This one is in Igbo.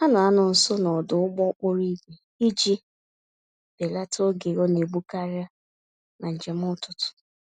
Ha na-anọ nso n'ọdụ ụgbọ-okporo-ígwè iji belata oge a naegbu-karị, na njem ụtụtụ.